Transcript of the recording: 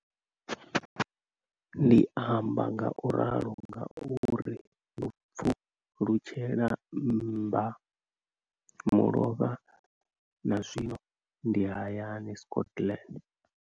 Ndi amba ngauralo nga uri ndo pfulutshela mbamulovha na zwino ndi hayani Scotland.